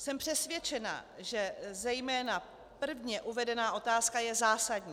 Jsem přesvědčena, že zejména prvně uvedená otázka je zásadní.